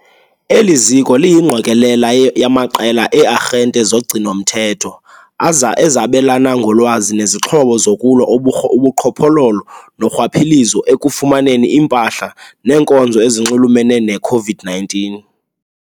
Eli ziko liyingqokelela yamaqela ee-arhente zogcino-mthetho ezabelana ngolwazi nezixhobo zokulwa ubuqhophololo norhwaphilizo ekufumaneni iimpahla neenkonzo ezinxulumene ne-COVID-19 .